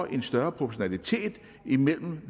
en større proportionalitet imellem